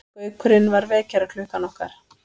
Gaukurinn var vekjaraklukkan okkar.